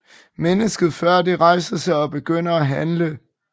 Mennesket før det rejser sig og begynder at handle